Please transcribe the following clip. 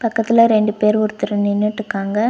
பக்கத்துல ரெண்டு பேர் ஒருத்தர் நின்னுட்டுக்காங்க.